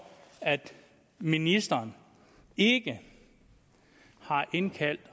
at ministeren ikke har indkaldt